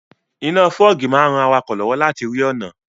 Iná fọ́ọ̀gì máa n ran awakọ̀ lọ́wọ́ láti rí ọ̀nà